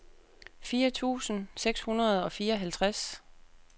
firs tusind seks hundrede og fireoghalvtreds